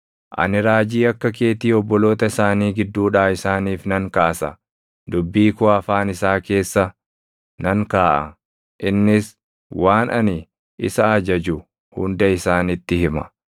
Ani raajii akka keetii obboloota isaanii gidduudhaa isaaniif nan kaasa; dubbii koo afaan isaa keessa nan kaaʼa; innis waan ani isa ajaju hunda isaanitti hima.